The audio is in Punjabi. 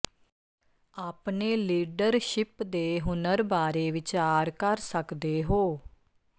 ਆਪਣੇ ਲੀਡਰਸ਼ਿਪ ਦੇ ਹੁਨਰ ਬਾਰੇ ਵਿਚਾਰ ਕਰ ਸਕਦੇ ਹੋ